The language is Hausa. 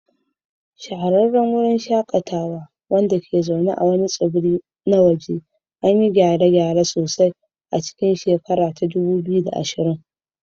Shahararran wurin shakatawa, wanda ke zaune a wani tsibiri na waje, an yi gyare-gyare sosai a cikin 2020.